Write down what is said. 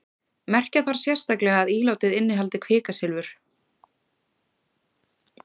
merkja þarf sérstaklega að ílátið innihaldi kvikasilfur